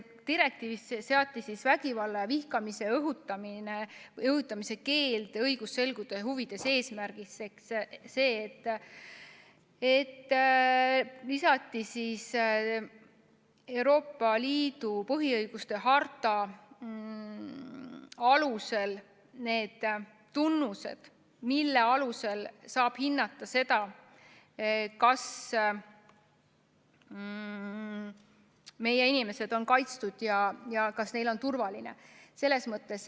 Direktiivis seati vägivalla ja vihkamise õhutamise keeld õigusselguse huvide eesmärgiks selliselt, et lisati Euroopa Liidu põhiõiguste harta alusel need tunnused, mille järgi saab hinnata seda, kas meie inimesed on kaitstud ja kas neil on turvaline.